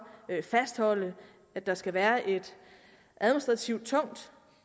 fastholde at der skal være en administrativt tung